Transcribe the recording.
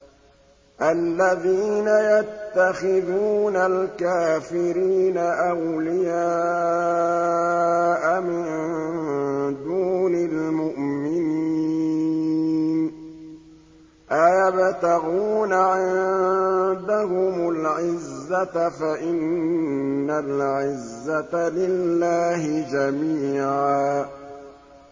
الَّذِينَ يَتَّخِذُونَ الْكَافِرِينَ أَوْلِيَاءَ مِن دُونِ الْمُؤْمِنِينَ ۚ أَيَبْتَغُونَ عِندَهُمُ الْعِزَّةَ فَإِنَّ الْعِزَّةَ لِلَّهِ جَمِيعًا